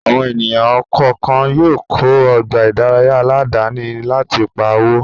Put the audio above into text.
Àwọn ènìyàn kọ̀ọ̀kan yóò kọ́ ọgbà ìdárayá aládàáni láti pa owó